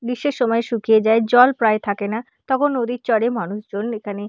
গ্রীষ্মের সময় শুকিয়ে যায়। জল প্রায় থাকে না তখন নদীর চরে মানুষজন এখানে--